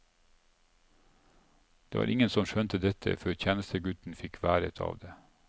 Det var ingen som skjønte dette, før tjenestegutten fikk været av det.